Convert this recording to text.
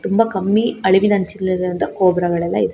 ತುಂಬಾ ಕಮ್ಮಿ ಅಳವಿ ಅಂಚಿ ಇರೋದ್ರಿಂದ ಕೋಬ್ರಾ ಒಳಗೆ ಇದೆ.